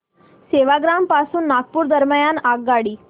सेवाग्राम पासून नागपूर दरम्यान आगगाडी